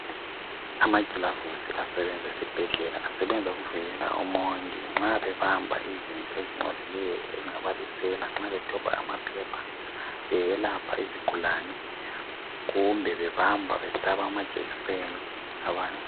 Amagulavusi asebenza esibhedlela asebenza ukuvikela omongi nxa bebamba izinto ezincolileyo njengoku dobha amaphepha, beyelapha izigulane kumbe bebamba behlaba amajekiseni abantu.